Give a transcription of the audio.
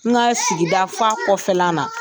N ka sigida f'a kɔfɛ la na.